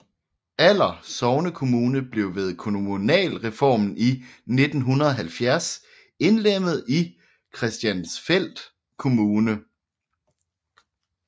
Aller sognekommune blev ved kommunalreformen i 1970 indlemmet i Christiansfeld Kommune